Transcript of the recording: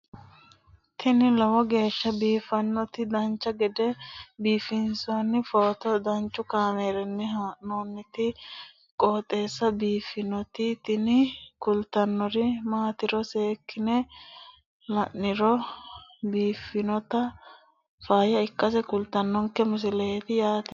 tini lowo geeshsha biiffannoti dancha gede biiffanno footo danchu kaameerinni haa'noonniti qooxeessa biiffannoti tini kultannori maatiro seekkine la'niro biiffannota faayya ikkase kultannoke misileeti yaate